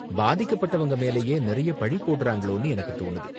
பாதிக்கப்பட்டவங்க மேலயே நிறைய பழி போடுறாங்களோனு எனக்கு தோணுது.